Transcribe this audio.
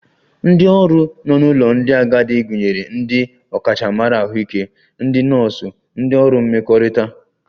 Ndị ọrụ nọ n'ụlọ ndị agadi gụnyere ndị ọkachamara Ahụike, ndị nọọsụ, ndị ọrụ mmekọrịta